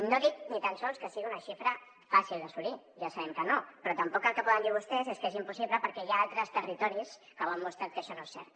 no dic ni tan sols que sigui una xifra fàcil d’assolir ja sabem que no però tampoc el que poden dir vostès és que és impossible perquè hi ha altres territoris que ho han mostrat que això no és cert